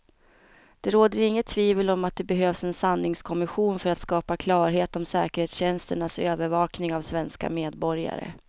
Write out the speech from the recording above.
Det råder inget tvivel om att det behövs en sanningskommission för att skapa klarhet om säkerhetstjänsternas övervakning av svenska medborgare.